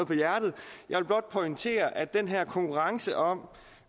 på hjertet jeg vil blot pointere at den her konkurrence om